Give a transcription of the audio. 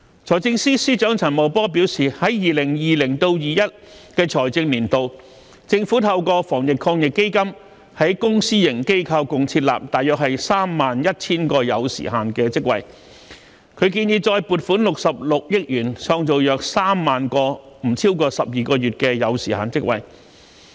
財政司司長陳茂波表示，在 2020-2021 財政年度，政府透過防疫抗疫基金在公私營機構共設立約 31,000 個有時限職位。他建議再撥款66億元，創造約3萬個不超過12個月的有時限職位。